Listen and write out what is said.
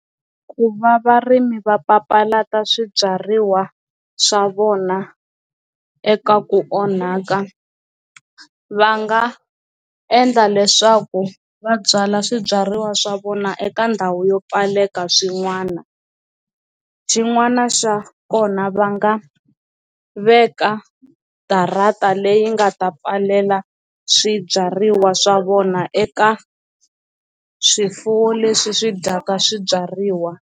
Ku va varimi va papalata swibyariwa swa vona eka ku onhaka va nga endla leswaku va byala swibyariwa swa vona eka ndhawu yo pfaleka swin'wana xin'wana xa kona va nga veka darata leyi nga ta pfalela swibyariwa swa vona eka swifuwo leswi swi dyaka swibyariwa.